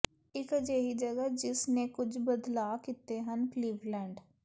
ਇਕ ਅਜਿਹੀ ਜਗ੍ਹਾ ਜਿਸ ਨੇ ਕੁਝ ਬਦਲਾਅ ਕੀਤੇ ਹਨ ਕਲੀਵਲੈਂਡ